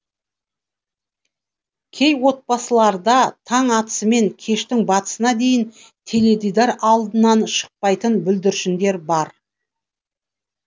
кей отбасыларда таң атысымен кештің батысына дейін теледидар алдынан шықпайтын бүлдіршіндер бар